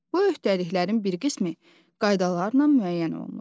Bu öhdəliklərin bir qismi qaydalarla müəyyən olunur.